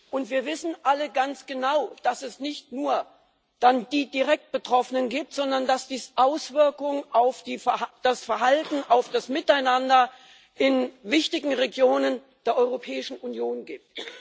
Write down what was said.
Und wir wissen alle ganz genau, dass es dann nicht nur die direkt Betroffenen gibt, sondern dass Auswirkungen auf das Verhalten, auf das Miteinander in wichtigen Regionen der Europäischen Union gibt.